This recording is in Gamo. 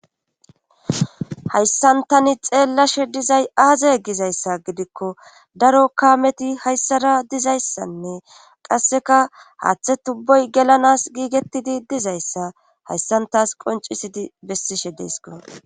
hayssantani xeellashe dizay aaza gizayssa gidikko daro kaameti hayssara dizayssanne qasseka haaththe tubboy gelanas giigettidi dizayssa hayssantaas qoncisidi bessishe deysko